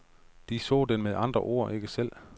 De så den med andre ord ikke selv.